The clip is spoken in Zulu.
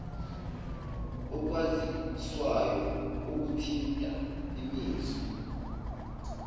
okwaziswayo okuthinta imizwa